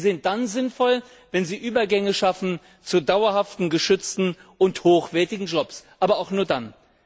Sie sind dann sinnvoll, wenn sie Übergänge schaffen zu dauerhaften, geschützten und hochwertigen Jobs, aber auch nur dann.